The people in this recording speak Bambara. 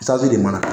Tasa de mana kɛ